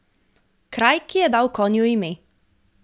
Kraj, ki je dal konju ime.